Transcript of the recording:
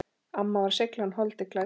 Amma var seiglan holdi klædd.